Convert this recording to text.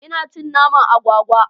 Ina cin naman agwagwa.